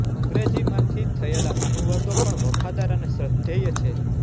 અંગ્રેજીમાંથી થયેલા અનુવાદો પણ વફાદાર અને શ્રદ્ધેય છે